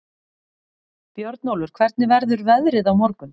Björnólfur, hvernig verður veðrið á morgun?